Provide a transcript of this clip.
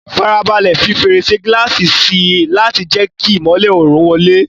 Farabalẹ̀ fi fèrèsé gíláàsì sí i láti jẹ́ kí ìmọ́lẹ̀ oòrùn wọlé.